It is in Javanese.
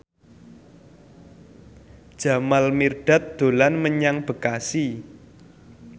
Jamal Mirdad dolan menyang Bekasi